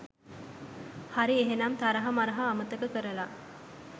හරි ඒහෙනම් තරහා මරහා අමතක කරලා